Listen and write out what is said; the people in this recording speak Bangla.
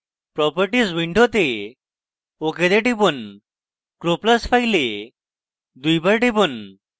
properties window ok তে টিপুন croplus file দুইবার টিপুন